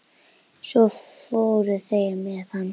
Svo fóru þeir með hann.